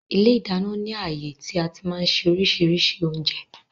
Ilé ìdáná ni ààyè tí àti máa ń ṣe oríṣiríṣi oúnjẹ